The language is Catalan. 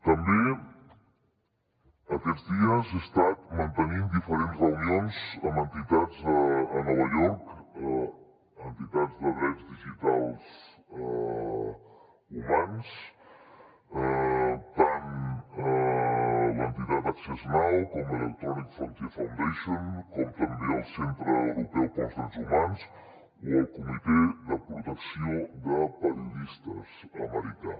també aquests dies he estat mantenint diferents reunions amb entitats a nova york entitats de drets digitals humans tant l’entitat access now com electronic frontier foundation com també el centre europeu pels drets humans o el comitè de protecció de periodistes americà